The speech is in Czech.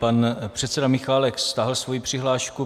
Pan předseda Michálek stáhl svoji přihlášku.